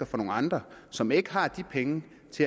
fra nogen andre som ikke har de penge